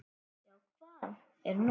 Já, hvað er nú?